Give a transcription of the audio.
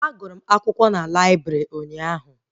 A gụrụ m akwụkwọ n'laibrị ụnyaahụ